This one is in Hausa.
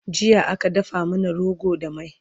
jiya aka dafa mana rogo da mai